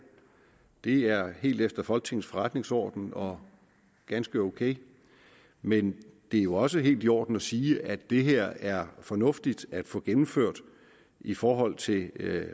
det er helt efter folketingets forretningsorden og ganske ok men det er jo også helt i orden at sige at det her er fornuftigt at få gennemført i forhold til